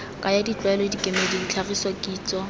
kaya ditlwaelo dikemedi ditlhagiso kitso